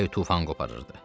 Külək tufan qoparırdı.